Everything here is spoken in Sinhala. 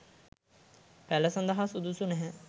පැළ සඳහා සුදුසු නැහැ.